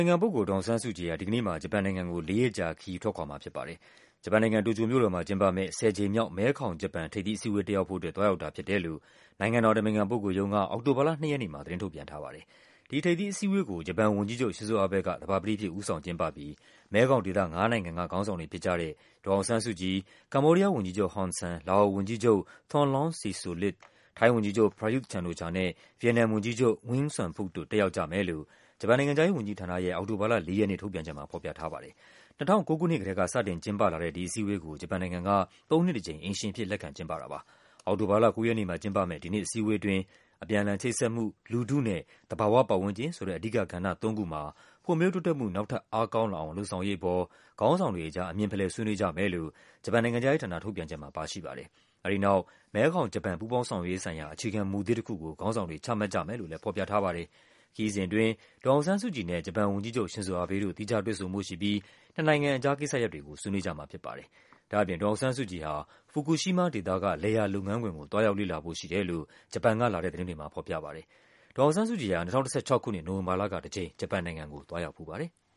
င်ခံပုဂ္ဂိုလ် ဒေါ်အောင်ဆန်းစုကြည်ဟာ သောကြာနေ့မှာ ဂျပန်နိုင်ငံကို လေးရက်ကြာခရီး ထွက်ခွာ မှာဖြစ်ပါတယ်။ ဂျပန်နိုင်ငံ၊ တိုကျိုမြို့တော်မှာကျင်းပမယ့် ၁၀ ကြိမ်မြောက် မဲခေါင်-ဂျပန် ထိပ်သီးအစည်းအဝေး တက်ရောက်ဖို့အတွက် သွားရောက်တာဖြစ်တယ်လို့ နိုင်ငံတော်အတိုင်ပင်ခံပုဂ္ဂိုလ်ရုံးက အောက်တိုဘာလ ၂ ရက်နေ့မှာ သတင်းထုတ်ပြန်ထားပါတယ်။ ဒီထိပ်သီးအစည်းအဝေးကို ဂျပန်ဝန်ကြီးချုပ် Shinzo Abe က သဘာပတိအဖြစ် ဦးဆောင်ကျင်းပပြီး မဲခေါင်ဒေသ ငါးနိုင်ငံက ခေါင်းဆောင်တွေဖြစ်ကြတဲ့ ဒေါ်အောင်ဆန်းစုကြည်၊ ကမ္ဘောဒီးယားဝန်ကြီးချုပ် ဟွန်ဆန်၊ လာအိုဝန်ကြီးချုပ် Thongloun Sisoulith ၊ ထိုင်းဝန်ကြီးချုပ် Prayuth Chan-o-Cha နဲ့ ဗီယက်နမ်ဝန်ကြီးချုပ် Nguyen Xuan Phuc တို့ တက်ရောက်ကြမယ်လို့ ဂျပန်နိုင်ငံခြားရေးဝန်ကြီးဌာနရဲ့ အောက်တိုဘာလ ၄ ရက်နေ့ ထုတ်ပြန်ချက်မှာ ဖော်ပြထားပါတယ်။ ၂၀၀၉ ခုနှစ်ကတည်းက စတင်ကျင်းပလာတဲ့ ဒီအစည်းအဝေးကို ဂျပန်နိုင်ငံံက သုံးနှစ်တကြိမ် အိမ်ရှင်အဖြစ် လက်ခံကျင်းပတာပါ။ အောက်တိုဘာလ ၉ ရက်နေ့မှာ ကျင်းပမယ့် ဒီနှစ်အစည်းအဝေးအတွင်း အပြန်အလှန် ချိတ်ဆက်မှု၊ လူထုနဲ့ သဘာဝ ပတ်ဝန်းကျင်ဆိုတဲ့ အဓိကကဏ္ဍသုံးခုမှာ ဖွံ့ဖြိုး တိုးတက်မှု နောက်ထပ် အားကောင်းလာအောင် လုပ်ဆောင်ရေးအပေါ် ခေါင်းဆောင်တွေကြား အမြင်ဖလှယ် ဆွေးနွေးကြမယ်လို့ ဂျပန်နိုင်ငံခြားရေးဌာန ထုတ်ပြန်ချက်မှာ ပါရှိပါတယ်။ အဲဒီနောက် မဲခေါင်-ဂျပန် ပူးပေါင်းဆောင်ရွက်ရေးဆိုင်ရာ အခြေခံမူသစ် တခုကို ခေါင်းဆောင်တွေ ချမှတ်ကြမယ်လို့လည်း ဖော်ပြထားပါ တယ်။ ခရီးစဉ်အတွင်း ဒေါ်အောင်ဆန်းစုကြည်နဲ့ ဂျပန်ဝန်ကြီးချုပ် Sinzo Abe တို့ သီးခြားတွေ့ဆုံဖို့ရှိပြီး နှစ်နိုင်ငံကြားကိစ္စရပ်တွေကို ဆွေးနွေးကြမှာဖြစ်ပါတယ်။ ဒ့ါအပြင် ဒေါ်အောင်ဆန်းစုကြည်ဟာ Fukushima ဒေသက လယ်ယာလုပ်ငန်းခွင်ကို သွားရောက် လေ့လာဖို့ရှိတယ်လို့ ဂျပန်ကလာတဲ့သတင်းတွေမှာ ဖော်ပြပါတယ်။ဒေါ်အောင်ဆန်းစုကြည်ဟာ ၂၀၁၆ ခုနှစ် နိုဝင်ဘာလကတကြိမ် ဂျပန်နိုင်ငံကို သွားရောက်ဖူးပါတယ်။